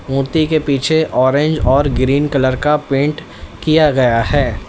मूर्ति के पीछे ऑरेंज और ग्रीन कलर का पेंट किया गया है।